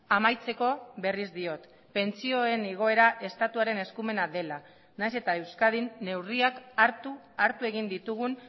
amaitzeko berriz diot pentsioen igoera estatuaren eskumena dela naiz eta euskadin neurriak hartu hartu egin ditugun